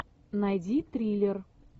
найди триллер